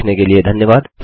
देखने के लिए धन्यवाद